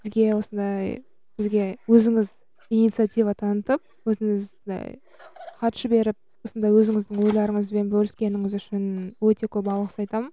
сізге осындай бізге өзіңіз инициатива танытып өзіңіз і хат жіберіп осындай өзіңіздің ойларыңызбен бөліскеніңіз үшін өте көп алғыс айтамын